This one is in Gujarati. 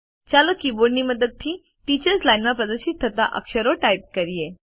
ચાલો કીબોર્ડની મદદ થી ટીચર્સ લાઇન માં પ્રદર્શિત થતા અક્ષરો ટાઇપ કરીએ